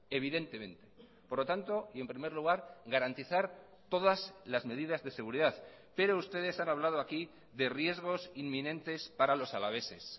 evidentemente por lo tanto y en primer lugar garantizar todas las medidas de seguridad pero ustedes han hablado aquí de riesgos inminentes para los alaveses